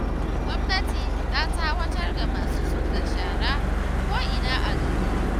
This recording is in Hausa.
Gwamnati ta tsawatar ga masu zub da shara ko'ina a gari